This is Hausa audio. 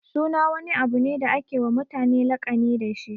Suna wani abu ne da ake wa mutane laƙani dashi.